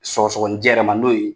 Sɔgɔsɔgɔni jɛ yɛrɛ man n'o ye